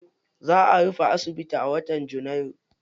Za a rufe asibiti a wata janairu.